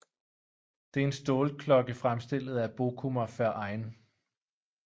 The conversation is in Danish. Det er en stålklokke fremstillet af Bochumer Verein